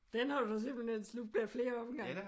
Den har du simpelthen slugt ad flere omgange?